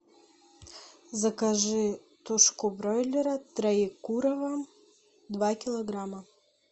закажи тушку бройлера троекурово два килограмма